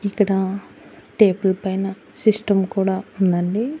ఇక్కడా టేబుల్ పైన సిస్టం కూడా ఉందండి.